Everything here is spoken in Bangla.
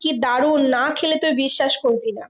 কি দারুন না খেলে তুই বিশ্বাস করবি না।